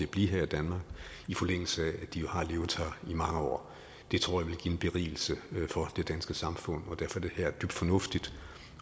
blive her i danmark i forlængelse af de har levet her i mange år det tror jeg vil give en berigelse for det danske samfund og derfor er det her dybt fornuftigt